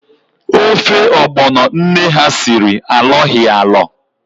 Ofe ọgbọno nne ha siri alọghi alọ